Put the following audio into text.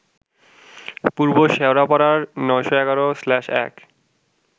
পূর্ব শেওড়াপাড়ার ৯১১/১